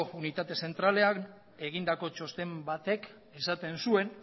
unitate zentralak egindako txosten batek esaten zuen